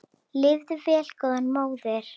Lifðu vel góða móðir.